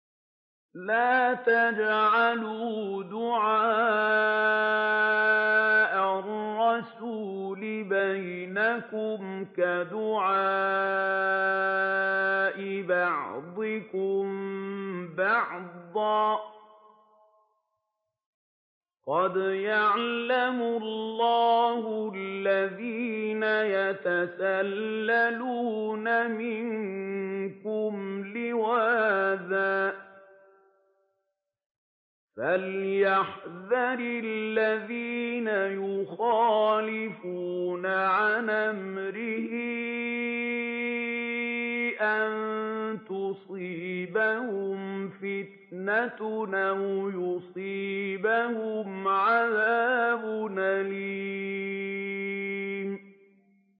لَّا تَجْعَلُوا دُعَاءَ الرَّسُولِ بَيْنَكُمْ كَدُعَاءِ بَعْضِكُم بَعْضًا ۚ قَدْ يَعْلَمُ اللَّهُ الَّذِينَ يَتَسَلَّلُونَ مِنكُمْ لِوَاذًا ۚ فَلْيَحْذَرِ الَّذِينَ يُخَالِفُونَ عَنْ أَمْرِهِ أَن تُصِيبَهُمْ فِتْنَةٌ أَوْ يُصِيبَهُمْ عَذَابٌ أَلِيمٌ